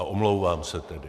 A omlouvám se tedy.